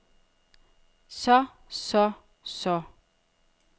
så så så